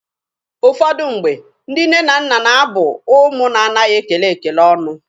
Ụfọdụ mgbe, ndị nne na nna na-abụ ụmụ na-anaghi ekele ekele ọnụ.